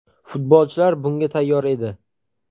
Futbolchilar bunga tayyor edi.